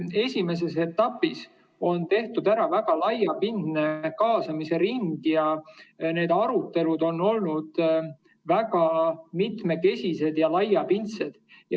Esimeses etapis on tehtud ära laiapindne kaasamise ring, need arutelud on olnud väga mitmekesised ja laiapindsed.